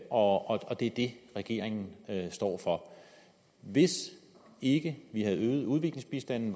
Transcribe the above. og det er det regeringen står for hvis ikke vi havde øget udviklingsbistanden